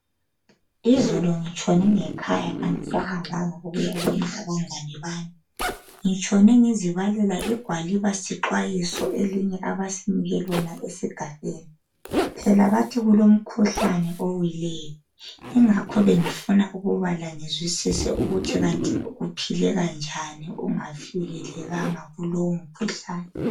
Izolo ngitshone ngekhaya angisahambanga kuyabona abangane bami ngitshone ngizibalela igwaliba sixwayiso elinye abasinike lona esigabeni phela bathi kulomhkuhlane owileyo yingakho bengifuna ukubala ngizwisise ukuthi kanti kuphileka njani ungavikelekanga kulowo mkhuhlane